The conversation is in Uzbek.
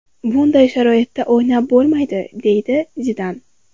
Bunday sharoitda o‘ynab bo‘lmaydi”, deydi Zidan.